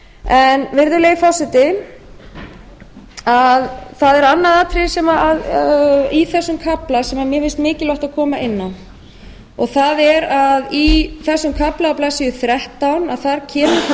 stjórnsýslunnar virðulegi forseti það er annað atriði í þessum kafla sem mér finnst mikilvægt að koma inn á og það er að í þessum kafla á blaðsíðu þrettán kemur fram að